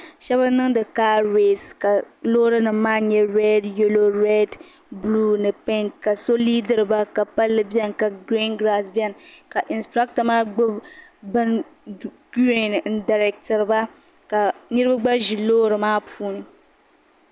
Shɛbi niŋdi kaareesi ka loorinim maa nye red yalo red buluu ni pink ka so liidiri ba ka pala bɛni ka gireen giraaci bɛni ka insiraata bin gireen n dareetiri ba ka Niriba gba ʒi loori maa puuni.